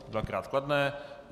Dvakrát kladné.